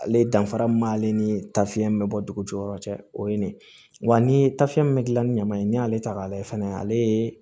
Ale danfara min b'ale ni tafiɲɛ bɛ bɔ dugu jɔyɔrɔ cɛ o ye nin ye wa ni ye tafiya min bɛ dilan ni ɲaman ye n'i y'ale ta k'a lajɛ fɛnɛ ale ye